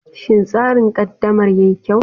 Shin tsarin ƙaddamar yi kyau?